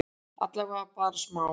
Allavega bara smá?